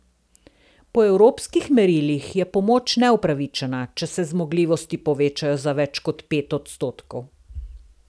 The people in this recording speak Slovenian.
Po evropskih merilih je pomoč neupravičena, če se zmogljivosti povečajo za več kot pet odstotkov.